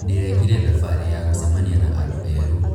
Ndĩrekire thabarĩ ya gũcemania na andũ erũ.